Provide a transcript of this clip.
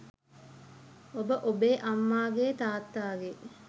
ඔබ ඔබේ අම්මාගේ තාත්තාගේ